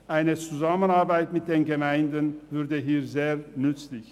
Eine Zusammenarbeit mit den Gemeinden wäre diesbezüglich sehr nützlich.